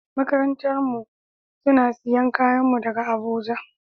Makarantan mu suna siyan kayan mu daga Abuja.